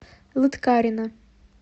лыткарино